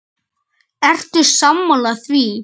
Ertu sammála því?